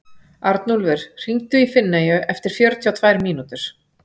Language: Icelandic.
Arnúlfur, hringdu í Finneyju eftir fjörutíu og tvær mínútur.